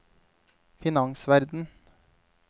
finansverden